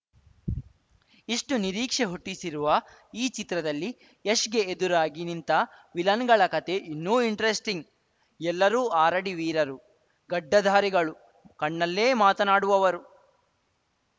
ಇಷ್ಟುನಿರೀಕ್ಷೆ ಹುಟ್ಟಿಸಿರುವ ಈ ಚಿತ್ರದಲ್ಲಿ ಯಶ್‌ಗೆ ಎದುರಾಗಿ ನಿಂತ ವಿಲನ್‌ಗಳ ಕತೆ ಇನ್ನೂ ಇಂಟರೆಸ್ಟಿಂಗ್‌ ಎಲ್ಲರೂ ಆರಡಿ ವೀರರು ಗಡ್ಡಧಾರಿಗಳು ಕಣ್ಣಲ್ಲೇ ಮಾತನಾಡುವವರು